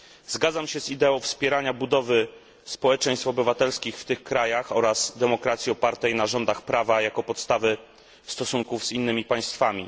Zgadzam się z ideą wspierania budowy społeczeństw obywatelskich w tych krajach oraz demokracji opartej na rządach prawa jako podstawy stosunków z innymi państwami.